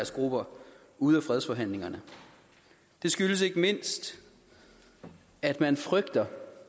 grupper ude af fredsforhandlingerne det skyldes ikke mindst at man frygter